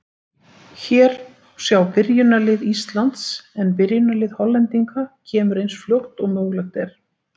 Hér má sjá byrjunarlið Íslands en byrjunarlið Hollendinga kemur eins fljótt og mögulegt er.